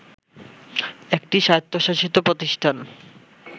একটি স্বায়ত্তশাসিত প্রতিষ্ঠান